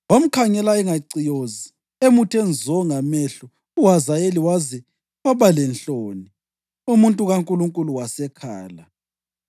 Wamkhangela engaciyozi emuthe nzo ngamehlo uHazayeli waze waba lenhloni. Umuntu kaNkulunkulu wasekhala.